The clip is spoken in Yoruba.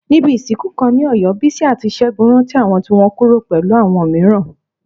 Níbi ìsìnkú kan ní Ọ̀yọ́, Bísí àti Ṣẹ́gun rántí àwọn tí wọ́n kúrò pẹ̀lú àwọn mìíràn.